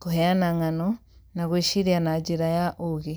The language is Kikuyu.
kũheana ng'ano, na gwĩciria na njĩra ya ũũgĩ! T